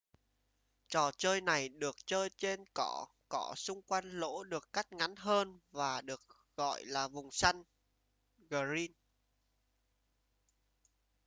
trò chơi này được chơi trên cỏ cỏ xung quanh lỗ được cắt ngắn hơn và được gọi là vùng xanh green